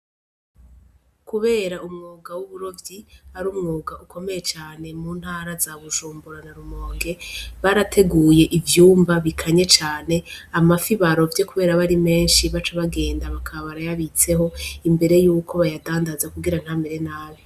Kubera umwuga w'uburovyi ari umwuga ukomeye cane mu ntara zabujumbura na rumonge barateguye ivyumba bikanye cane amafi ba rovye kubera ari menshi baca bagenda bakaba barayabitseho imbere yuko bayadandaza kugira ntamere nabi.